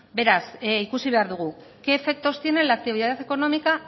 beraz ikusi behar dugu qué efectos tienen la actividad económica